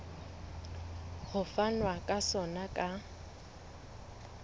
ho fanwa ka sona ka